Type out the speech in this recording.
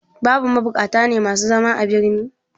Babu mabukata ne masu zama a birni?